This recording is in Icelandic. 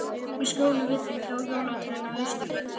Í skjóli við þig, hjá jólatrénu á Austurvelli.